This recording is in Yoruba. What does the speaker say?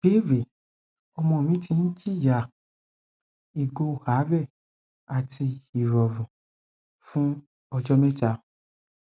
ìbéèrè ọmọ mi ti ń jìyà ìgò àárè àti ìròrùn fún ọjó méta